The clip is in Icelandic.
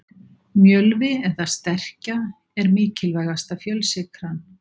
Mjölvi eða sterkja er mikilvægasta fjölsykran.